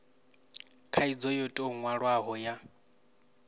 khaidzo yo tou nwalwaho ya